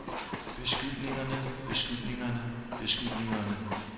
beskyldningerne beskyldningerne beskyldningerne